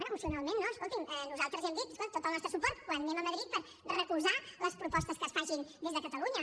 bé emocionalment no escolti’m nosaltres ja hem dit escoltin tot el nostre suport quan anem a madrid per recolzar les propostes que es facin des de catalunya